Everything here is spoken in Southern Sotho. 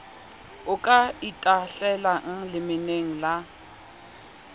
o ka itahlelang lemeneng la